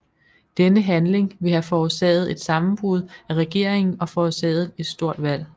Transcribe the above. Denne handling ville have forårsaget et sammenbrud af regeringen og forårsaget et stort valg